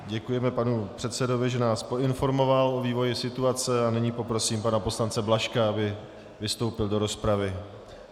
Děkujeme panu předsedovi, že nás poinformoval o vývoji situace a nyní poprosím pana poslance Blažka, aby vystoupil v rozpravě.